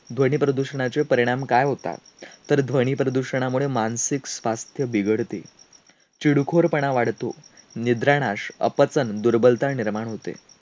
ध्वनीप्रदूषणाचे परिणाम काय होतात? तर ध्वनीप्रदूषणामुळे मानसिक स्वास्थ्य बिघडते, चिडखोरपणा वाढतो, निद्रानाश, अपचन, दुर्बलता निर्माण होते.